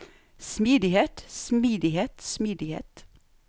smidighet smidighet smidighet